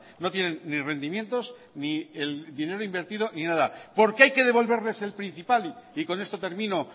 no tienen ni rendimientos ni el dinero invertido ni nada por qué hay que devolverles el principal y con esto termino